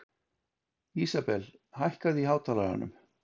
Isabel, hækkaðu í hátalaranum.